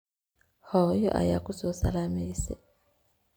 Xoyo aya kusosalameyse.